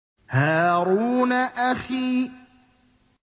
هَارُونَ أَخِي